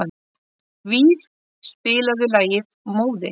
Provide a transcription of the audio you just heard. Víf, spilaðu lagið „Móðir“.